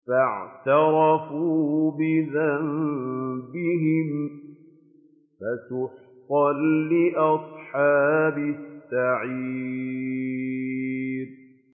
فَاعْتَرَفُوا بِذَنبِهِمْ فَسُحْقًا لِّأَصْحَابِ السَّعِيرِ